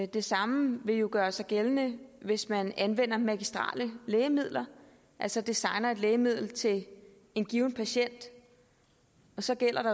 det samme vil jo gøre sig gældende hvis man anvender magistrelle lægemidler altså designer et lægemiddel til en given patient så gælder det